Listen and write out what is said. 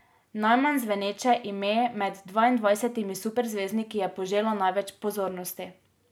Najmanj zveneče ime med dvaindvajsetimi superzvezdniki je poželo največ pozornosti.